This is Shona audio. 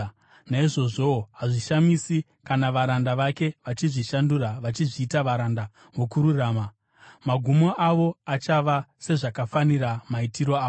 Naizvozvowo hazvishamisi, kana varanda vake vachizvishandura vachizviita varanda vokururama. Magumo avo achava sezvakafanira maitiro avo.